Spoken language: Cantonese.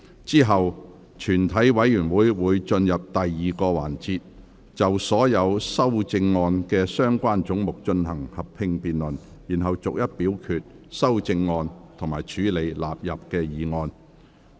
之後全體委員會會進入第二個環節，就所有修正案及相關總目進行合併辯論，然後逐一表決修正案及處理納入議案。